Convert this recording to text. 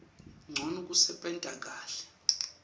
ncono kusebenta kahle